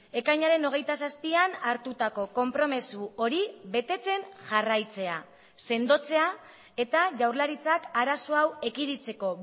ekainaren hogeita zazpian hartutako konpromiso hori betetzen jarraitzea sendotzea eta jaurlaritzak arazo hau ekiditeko